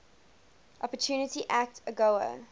opportunity act agoa